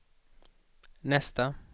nästa